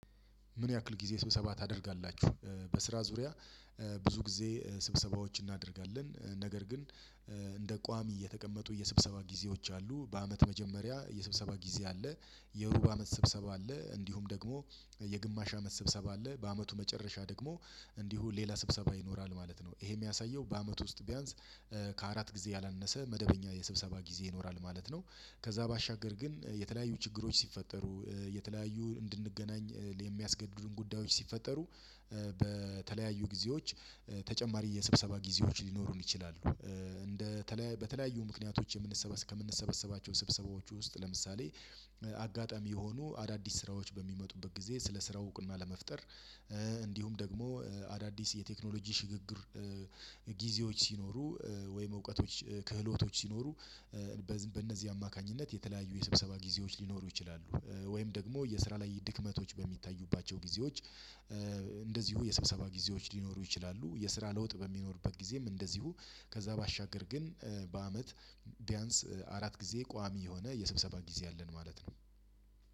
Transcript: ምን ያክል ጊዜ ስብሰባ ታደርጋላችሁ? በስራ ዙሪያ ብዙ ጊዜ ስብሰባዎችን እናደርጋለን ነገር ግን እንደ ቋሚ እየተቀመጡ የስብሰባ ጊዜዎች አሉ በአመት መጀመሪያ የስብሰባ ጊዜ አለ። የሩብ አመት ስብሰባ አለ እንዲሁም ደግሞ የግማሽ አመት ስብሰባ አለ በአመቱ መጨረሻ ደግሞ እንዲሁ ሌላ ስብሰባ ይኖራል ማለት ነው። ይሄ የሚያሳየው በአመቱ ውስጥ ቢያንስ ከአራት ጊዜ ያላነሰ መደበኛ የስብሰባ ጊዜ ይኖራል ማለት ነው። ከዛ ባሻገር ግን የተለያዩ ችግሮች ሲፈጠሩ የተለያዩ እንድንገናኝ የሚያስገድዱን ጉዳዮች ሲፈጠሩ በተለያዩ ጊዜዎች ተጨማሪ የስብሰባ ጊዜዎች ሊኖሩን ይችላሉ። እንደ በተለያዩ ምክንያቶች ከምንሰበሰባቸው ስብሰባዎች ውስጥ ለምሳሌ አጋጣሚ የሆኑ አዳዲስ ስራዎች በሚመጡበት ጊዜ ስለ ስራው እውቅና ለመፍጠር እንዲሁም ደግሞ አዳዲስ የቴክኖሎጂ ሽግግር ጊዜዎች ሲኖሩ ወይም እውቀቶች ክህሎቶች ሲኖሩ በእነዚህ አማካኝነት የተለያዩ የስብሰባ ጊዜዎች ሊኖሩ ይችላሉ። ወይም ደግሞ የስራ ላይ ድክመቶች በሚታዩባቸው ጊዜዎች እንደዚሁ የስብሰባ ጊዜዎች ሊኖሩ ይችላሉ። የስራ ለውጥ በሚኖርበት ጊዜም እንደዚሁ ከዛ ባሻገር ግን በአመት ቢያንስ አራት ጊዜ ቋሚ የሆነ የስብሰባ ጊዜ አለን ማለት ነው።